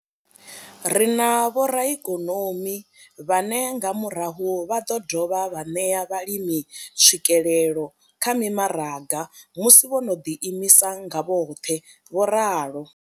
Ri na vhoraikonomi vhane nga murahu vha ḓo dovha vha ṋea vhalimi tswikelelo kha mimaraga musi vho no ḓi imisa nga vhoṱhe, vho ralo.